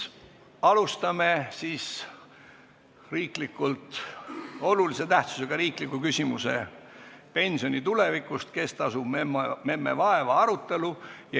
Alustame olulise tähtsusega riikliku küsimuse "Pensioni tulevikust – kes tasub memme vaeva?" arutelu.